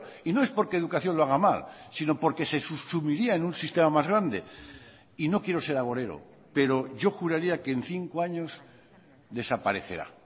y no es porque educación lo haga mal sino porque se subsumiría en un sistema más grande y no quiero ser agorero pero yo juraría que en cinco años desaparecerá